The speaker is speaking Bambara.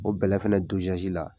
O bɛlɛ fana to la.